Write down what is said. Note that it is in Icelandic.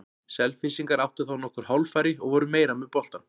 Selfyssingar áttu þá nokkur hálffæri og voru meira með boltann.